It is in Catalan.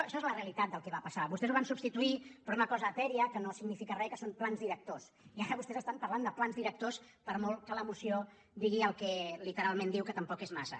això és la realitat del que va passar vostès ho van subs tituir per una cosa etèria que no significa res que són plans directors i ara vostès estan parlant de plans directors per molt que la moció digui el que literalment diu que tampoc és massa